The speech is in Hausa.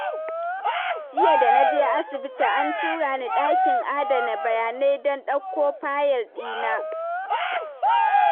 Jiya da na je asibiti, an tura ni ɗakin adana bayanai, don ɗauko fayil ɗina.